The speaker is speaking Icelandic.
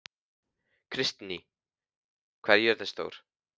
Kristný, hvað er jörðin stór?